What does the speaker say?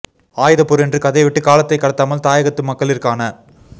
ஆயுதப்போர் என்று கதைவிட்டு காலத்தை கடத்தாமல் தாயகத்து மக்ககளிற்கான